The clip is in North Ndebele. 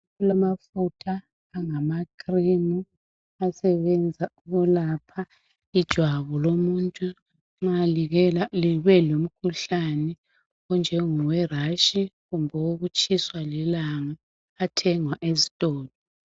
Kulamafutha angamacream asebenza ukwelapha ijwabu lomuntu nxa libelomkhuhlane onjengowerash kumbe owekutshiswa lilanga uyathengwa esitolo.